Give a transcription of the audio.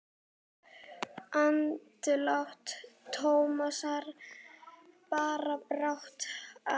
Andlát Tómasar bar brátt að.